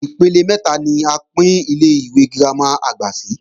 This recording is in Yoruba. Ipele mẹ́ta ni a pín Ilé-ìwé girama àgbà sí